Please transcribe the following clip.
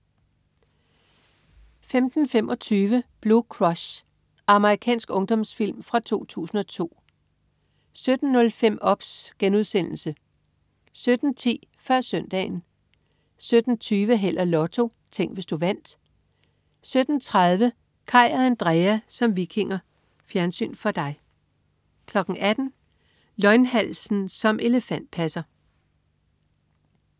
15.25 Blue Crush. Amerikansk ungdomsfilm fra 2002 17.05 OBS* 17.10 Før Søndagen 17.20 Held og Lotto. Tænk, hvis du vandt 17.30 Kaj og Andrea som vikinger. Fjernsyn for dig 18.00 Løgnhalsen som elefantpasser